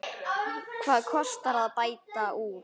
Hvað kostar að bæta úr?